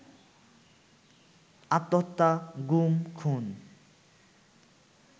আত্মহত্যা, গুম খুন